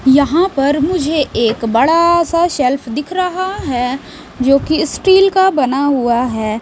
यहाँ पर मुझे एक बड़ा सा शेल्फ दिख रहा है जो कि स्टील का बना हुआ है।